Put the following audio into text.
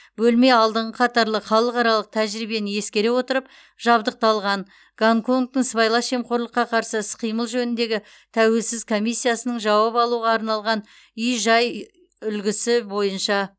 бөлме алдыңғы қатарлы халықаралық тәжірибені ескере отырып жабдықталған гонконгтың сыбайлас жемқорлыққа қарсы іс қимыл жөніндегі тәуелсіз комиссиясының жауап алуға арналған үй жай үлгісі бойынша